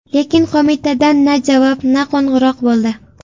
Lekin qo‘mitadan na javob, na qo‘ng‘iroq bo‘ldi.